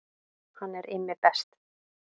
Hann er Immi best.